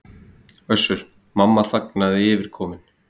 Össur-Mamma þagnaði yfirkominn.